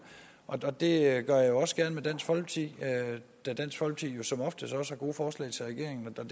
og det gør jeg også gerne med dansk folkeparti da dansk folkeparti jo som oftest også har gode forslag til regeringen og